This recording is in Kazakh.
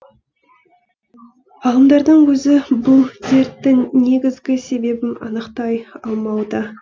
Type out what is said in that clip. ғалымдардың өзі бұл дерттің негізгі себебін анықтай алмауда